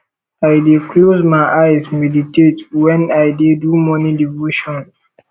i dey close my eyes meditate wen i dey do morning devotion